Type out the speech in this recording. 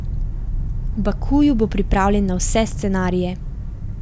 V Bakuju bo pripravljen na vse scenarije.